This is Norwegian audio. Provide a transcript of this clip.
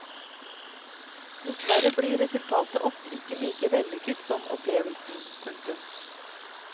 Dessverre blir resultatet ofte ikke like vellykket som opplevelsen. punktum